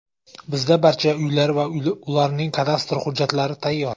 Bizda barcha uylar va ularning kadastr hujjatlari tayyor.